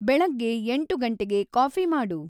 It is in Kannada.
ಬೆಳಗ್ಗೆ ಎಂಟು ಗಂಟೇಗೆ ಕಾಫಿ ಮಾಡು